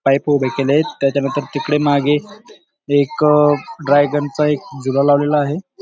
Pipe उभे केलेत त्याच्या नंतर तिकडे मागे एक चा एक झुला लावलेला आहे.